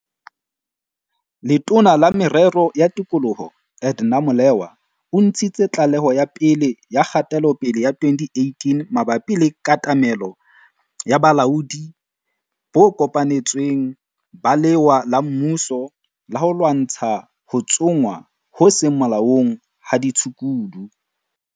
Letona la Merero ya Tikoloho, Edna Molewa, o ntshitse tlaleho ya pele ya kgatelopele ya 2018 mabapi le katamelo ya bolaodi bo kopanetsweng ba lewa la mmuso la ho lwantsha ho tsongwa ho seng molaong ha ditshukudu.